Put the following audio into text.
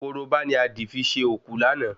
Korobá ni a dì fi ṣe òkú láàná